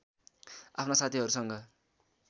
आफ्ना साथीहरूसँग